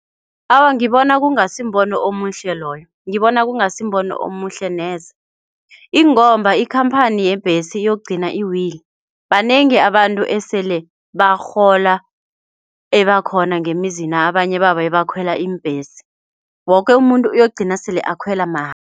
Awa, ngibona kungasimbono omuhle loyo. Ngibona kungasimbono omuhle neze ingomba ikhamphani yeembhesi yokugcina iwile. Banengi abantu esele barhola ebakhona ngemzina abanye babo abakhwela iimbhesi, woke umuntu uyokugcina sele akhwela mahala.